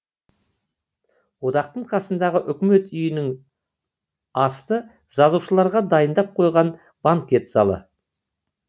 одақтың қасындағы үкімет үйінің асты жазушыларға дайындап қойған банкет залы